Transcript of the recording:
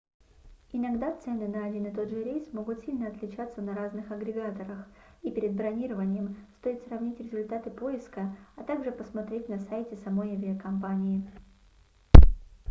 иногда цены на один и тот же рейс могут сильно отличаться на разных агрегаторах и перед бронированием стоит сравнить результаты поиска а также посмотреть на сайте самой авиакомпании